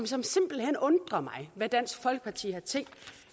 som simpelt hen undrer mig med dansk folkeparti har tænkt